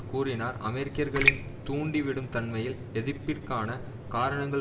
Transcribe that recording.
கூறினார் அமெரிக்கர்களின் தூண்டிவிடும் தன்மையில் எதிர்ப்பிற்கான காரணங்கள்